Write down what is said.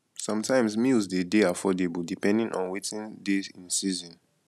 sometimes meals dey dey affordable depending on wetin dey in season